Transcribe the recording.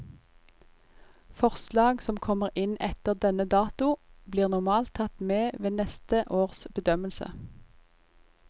Forslag som kommer inn etter denne dato, blir normalt tatt med ved neste års bedømmelse.